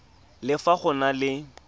le fa go na le